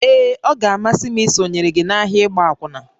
Ee, ọ ga-amasị m isonyere gị n'ahịa ịgba akwụna